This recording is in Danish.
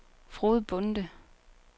Frode Bonde